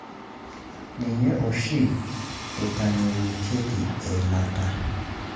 Ninye oshi eitayunyeki eilata.